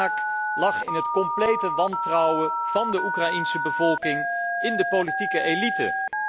De oorzaak lag in het complete wantrouwen van de Oekraïense bevolking in de politieke elite.